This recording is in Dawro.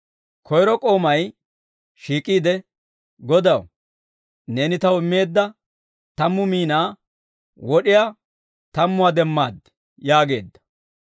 «Koyro k'oomay shiik'iide, ‹Godaw, neeni taw immeedda tammu miinaa wod'iyaa tammuwaa demmaad› yaageedda.